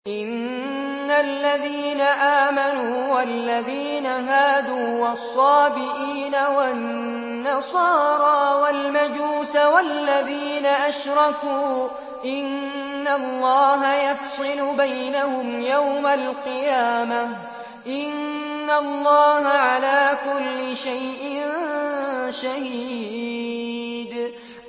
إِنَّ الَّذِينَ آمَنُوا وَالَّذِينَ هَادُوا وَالصَّابِئِينَ وَالنَّصَارَىٰ وَالْمَجُوسَ وَالَّذِينَ أَشْرَكُوا إِنَّ اللَّهَ يَفْصِلُ بَيْنَهُمْ يَوْمَ الْقِيَامَةِ ۚ إِنَّ اللَّهَ عَلَىٰ كُلِّ شَيْءٍ شَهِيدٌ